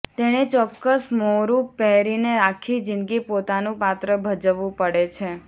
તેણે ચોક્કસ મહોરું પહેરીને આખી જિંદગી પોતાનું પાત્ર ભજવવું પડે છે